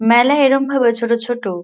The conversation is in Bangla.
মেলায় এরম ভাবে ছোট ছোট--